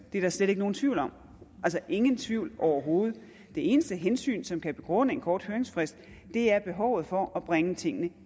er slet ikke nogen tvivl om at ingen tvivl overhovedet det eneste hensyn som kan begrunde en kort høringsfrist er behovet for at bringe tingene